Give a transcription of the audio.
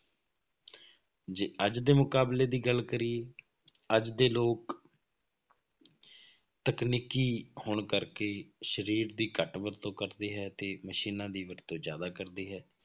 ਜੇ ਅੱਜ ਦੇ ਮੁਕਾਬਲੇ ਦੀ ਗੱਲ ਕਰੀਏ ਅੱਜ ਦੇ ਲੋਕ ਤਕਨੀਕੀ ਹੋਣ ਕਰਕੇ ਸਰੀਰ ਦੀ ਘੱਟ ਵਰਤੋਂ ਕਰਦੇ ਹੈ ਤੇ ਮਸ਼ੀਨਾਂ ਦੀ ਵਰਤੋਂ ਜ਼ਿਆਦਾ ਕਰਦੇ ਹੈ,